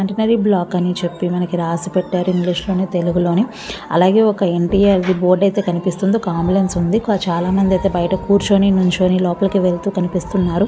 Centenary block అని చెప్పి మనకి రాసి పెట్టారు. ఇంగ్షీషు లోని తెలుగులో ని ఆలాగే ఒక ఎన్_టి_ఆర్ ది బోర్డు అయితే కనిపిస్తుంది. ఒక అంబులేన్స్ ఉంది. ఇక్కడ చాలా మంది అయితే బయట కూర్చొని నిల్చొని లోపలికి వెళ్తూ కనిపిస్తున్నారు.